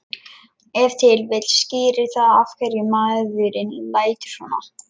Ef til vill skýrir það af hverju maðurinn lætur svona.